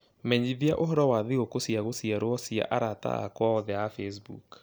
menyithia ũhoro wa thigũkũ cia gũciarwo cia arata akwa othe a Facebook